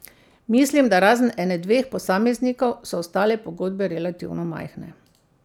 Mislim, da razen ene dveh posameznikov, so ostale pogodbe relativno majhne.